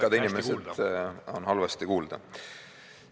Pikad inimesed on siis halvasti kuulda.